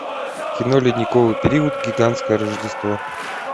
кино ледниковый период гигантское рождество